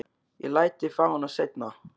Ég læt þig fá hana seinna.